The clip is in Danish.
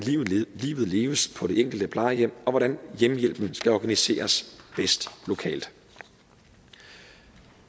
livet leves på det enkelte plejehjem og hvordan hjemmehjælpen skal organiseres bedst lokalt